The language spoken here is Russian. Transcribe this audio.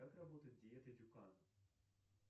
как работает диета дюкана